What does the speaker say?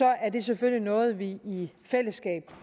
er det selvfølgelig noget vi i fællesskab